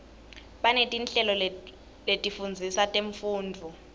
banetinhlelo letifundzisa temfundvo